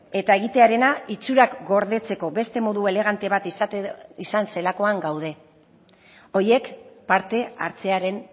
eta egitearena itxurak gordetzeko beste modu elegante bat izan zelakoan gaude horiek parte hartzearen